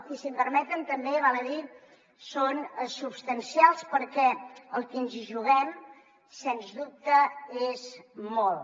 i si em permeten també val a dir que són substancials perquè el que ens hi juguem sens dubte és molt